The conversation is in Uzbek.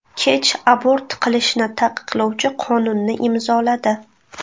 Kech abort qilishni taqiqlovchi qonunni imzoladi .